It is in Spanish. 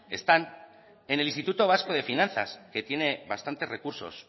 están en el instituto vasco de finanzas que tiene bastante recursos